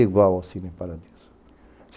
Igual ao Cine Paradiso.